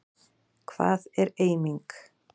Hvað er eiming?